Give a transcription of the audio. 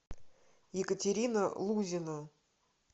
екатерина лузина